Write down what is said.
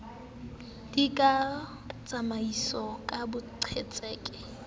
di ka tsamaiswa ka boqhetseke